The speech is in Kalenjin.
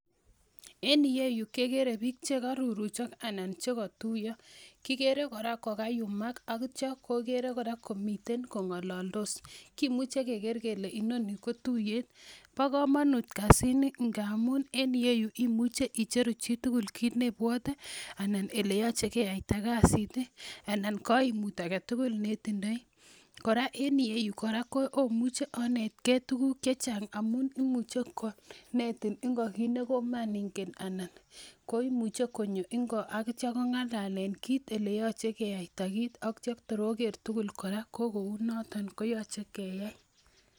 En iyeyu kekere biik chekoruruchok ana chekotuiyo kikere kora kokayumak ak itaya kokere kora komiten kong'ololdos kimuche keker kele inoni ko tuiyet, bo komonut kasit ni ngamun en iyeyu imuche icheru chitugul kit nebwote ana eleyoche keyaita kasit anan koimut aketugul netindoi kora en iyeyu kora omuche onetgee tuguk chechang amun imuche konetin ngo kit nekomengen anan koimuche konyo ngo ak itya kongalalen kit eleyoche keyaita kit ak tor oker tugul kora ko kou noton koyoche keyai